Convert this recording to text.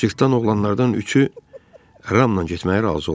Cırtdan oğlanlardan üçü Ramla getməyə razı oldu.